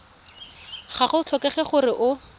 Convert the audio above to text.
ga go tlhokege gore o